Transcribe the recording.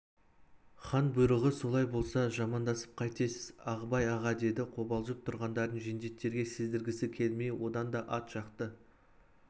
хан бұйрығы солай болса жамандасып қайтесіз ағыбай аға деді қобалжып тұрғандарын жендеттерге сездіргісі келмей одан да ат жақты